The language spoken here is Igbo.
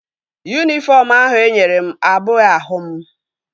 Yunifọm ahụ enyere m abụghị ahụ m